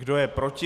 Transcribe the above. Kdo je proti?